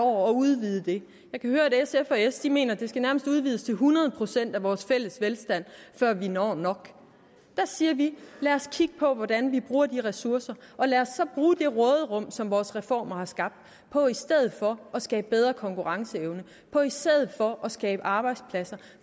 år at udvide det jeg kan høre at sf og s mener at det nærmest skal udvides til hundrede procent af vores fælles velstand før vi når nok der siger vi lad os kigge på hvordan vi bruger de ressourcer og lad os så bruge det råderum som vores reformer har skabt på i stedet for at skabe bedre konkurrenceevne og på i stedet for at skabe arbejdspladser